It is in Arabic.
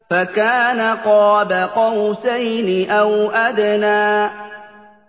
فَكَانَ قَابَ قَوْسَيْنِ أَوْ أَدْنَىٰ